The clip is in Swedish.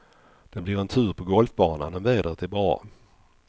Det blir en tur på golfbanan om vädret är bra.